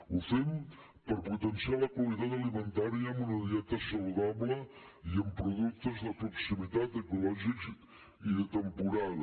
ho fem per potenciar la qualitat alimentària amb una dieta saludable i amb productes de proximitat ecològics i de temporada